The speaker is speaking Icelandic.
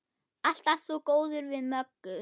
Alltaf svo góður við Möggu.